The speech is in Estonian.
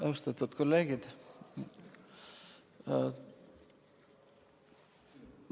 Austatud kolleegid!